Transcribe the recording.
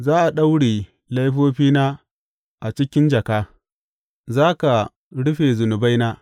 Za a daure laifofina a cikin jaka; za ka rufe zunubaina.